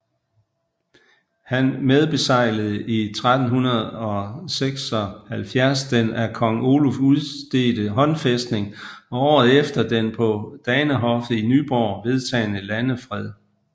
Han medbeseglede 1376 den af kong Oluf udstedte håndfæstning og året efter den på Danehoffet i Nyborg vedtagne landefred